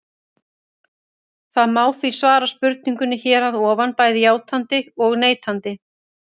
Það má því svara spurningunni hér að ofan bæði játandi og neitandi.